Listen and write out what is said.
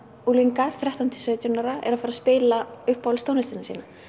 unglingar þrettán til sautján ára eru að fara að spila uppáhaldstónlistina sína